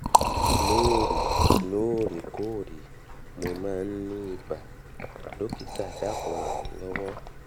lóòrè lóòrè kóòrè mo máa ń ní ibà dọ́kítà dákùn ràn mí lọ́wọ́